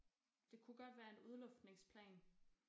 Det kunne godt være en udluftningsplan